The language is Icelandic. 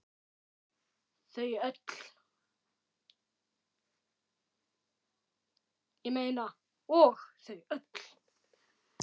Og þau öll.